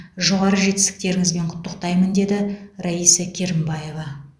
жоғары жетістіктеріңізбен құттықтаймын деді раиса керімбаева